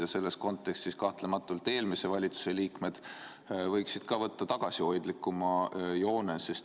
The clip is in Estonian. Ja selles kontekstis kahtlematult eelmise valitsuse liikmed võiksid võtta tagasihoidlikuma joone.